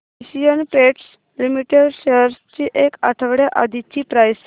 Asian Paints Limited shares ची एक आठवड्या आधीची प्राइस